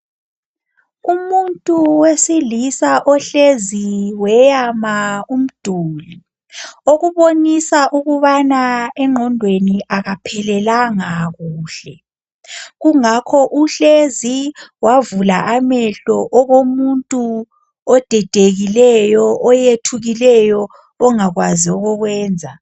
Umuntu wesilisa ohlezi weyama umduli okubonisa ukubana engqondweni akaphelelanga kuhle kungakho uhlezi wavula amehlo okomuntu odidekileyo oyethukileyo ongakwazi okokwenza.